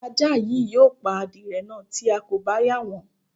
Ajá yìí yóò pa adirẹ̀ náà tí a kò bá yà wọ́n